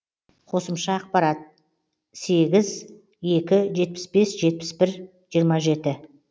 қосымша ақпарат сегіз екі жетпіс бес жетпіс бір жиырма жеті